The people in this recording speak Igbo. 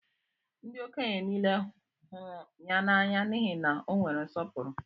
Ndị okenye nile hụrụ ya n'anya n'ihi na o nwere nsọpụrụ.